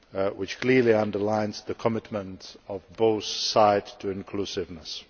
which clearly underlines the commitment of both sides to inclusiveness.